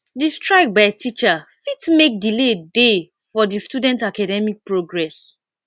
di strike by teacher fit make delay dey for di student academic progress